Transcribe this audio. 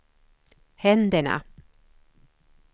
händerna